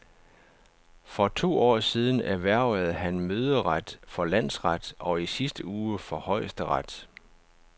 For to år siden erhvervede han møderet for landsret og i sidste uge for højesteret.